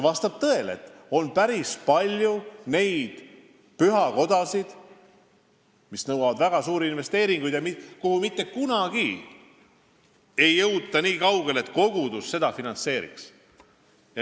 Vastab tõele, et on päris palju neid pühakodasid, mis nõuavad väga suuri investeeringuid ja kus mitte kunagi ei jõuta nii kaugele, et kogudus seda finantseeriks.